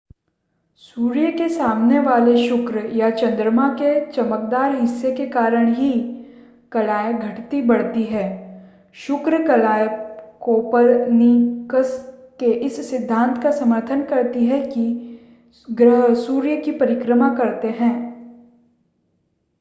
सूर्य के सामने वाले शुक्र या चंद्रमा के चमकदार हिस्से के कारण ही कलाएँ घटती-बढ़ती हैं. शुक्र कलाएँ कोपरनिकस के इस सिद्धांत का समर्थन करती हैं कि ग्रह सूर्य की परिक्रमा करते हैं